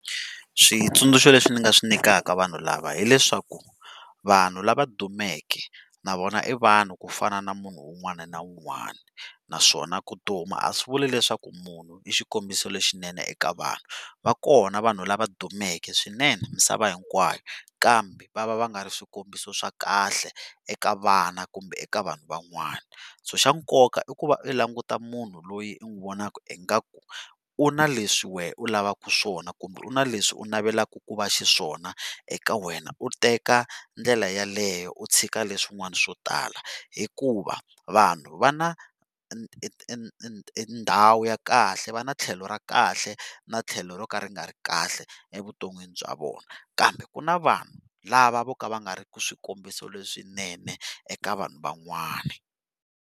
Switsundzuko leswi ni nga swi nykala vanhu lava hileswaku vanhu lava dumeke na vona i vanhu ku fana na munhu un'wani na un'wana naswona ku duma a swi vuli leswaku munhu i xikombiso lexinene eka vana va kona vanhu lava dumeke swinene misava hinkwayo kambe va va va nga ri swikombiso sws kahle eka vana kumbe eka vanhu van'wana, xa nkoka i ku va u languta munhu loyi u n'wi vonaka ingaku u na leswi wena u lavaka swona kumbe u na leswi u navelaka ku va xiswona eka wena u teka ndlela yaleyo u tshika leswin'wana swo tala hikuva vanhu vana ndhawu ya kahle va ni tlhelo ra kahle na tlhelo ro ka ri nga ri kahle evuton'wini bya vona kambe ku na vanhu lava vo ka va nga ri swikombiso leswinene eka vanhu van'wana.